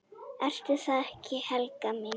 Ertu það ekki, Helga mín?